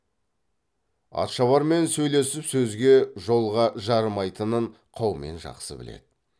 атшабармен сөйлесіп сөзге жолға жарымайтынын қаумен жақсы біледі